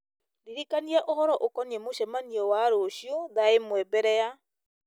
ndirikania ũhoro ũkoniĩ mũcemanio wa rũciũ thaa ĩmwe mbere ya